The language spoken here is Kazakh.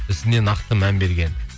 ісіне нақты мән берген